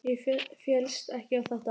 Ég féllst ekki á þetta.